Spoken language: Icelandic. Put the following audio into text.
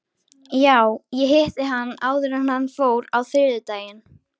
Já, ég hitti hann áður en hann fór á þriðjudaginn.